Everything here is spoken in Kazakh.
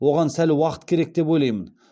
оған сәл уақыт керек деп ойлаймын